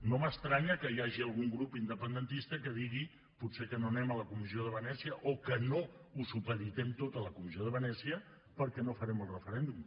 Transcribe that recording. no m’estranya que hi hagi algun grup independentista que digui potser que no anem a la comissió de venècia o que no ho supeditem tot a la comissió de venècia perquè no farem el referèndum